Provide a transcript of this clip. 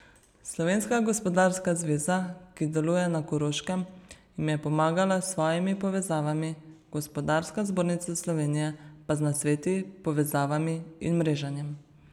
Slovenska gospodarska zveza, ki deluje na Koroškem, jim je pomagala s svojimi povezavami, Gospodarska zbornica Slovenije pa z nasveti, povezavami in mreženjem.